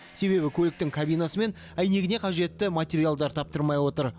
себебі көліктің кабинасы мен әйнегіне қажетті материалдар таптырмай отыр